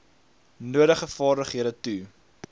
nodige vaardighede toe